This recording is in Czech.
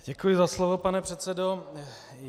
Děkuji za slovo, pane předsedo.